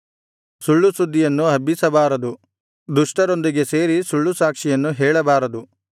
ಸುಳ್ಳು ಸುದ್ದಿಯನ್ನು ಹಬ್ಬಿಸಬಾರದು ದುಷ್ಟರೊಂದಿಗೆ ಸೇರಿ ಸುಳ್ಳು ಸಾಕ್ಷಿಯನ್ನು ಹೇಳಬಾರದು